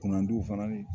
Kurandon fana ye